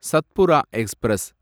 Satpura express